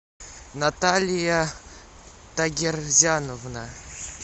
наталья тагирзяновна